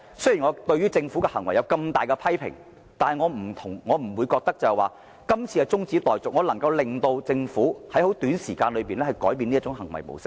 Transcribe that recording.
雖然我對政府的行為極力批評，但我不認為中止待續議案能促使政府短期內改變行為模式。